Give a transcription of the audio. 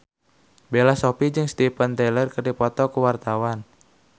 Bella Shofie jeung Steven Tyler keur dipoto ku wartawan